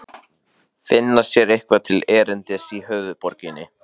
Finna sér eitthvað til erindis í höfuðborginni?